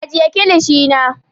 Ajiye kilishi na.